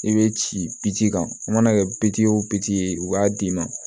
I bɛ ci biji kan u mana kɛ o ye u b'a d'i ma